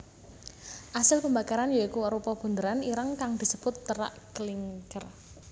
Asil pembakaran ya iku arupa bunderan ireng kang disebut terak klinker